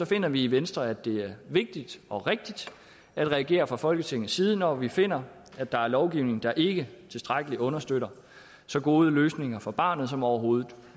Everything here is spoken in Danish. finder vi i venstre at det er vigtigt og rigtigt at reagere fra folketingets side når vi finder at der er lovgivning der ikke tilstrækkeligt understøtter så gode løsninger for barnet som overhovedet